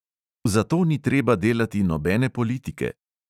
"Zato ni treba delati nobene politike."